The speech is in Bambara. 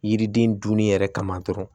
Yiriden dunni yɛrɛ kama dɔrɔn